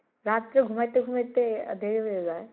রাতরে ঘুমাইতে ঘুমাইতে দেরি হয়ে যায় ।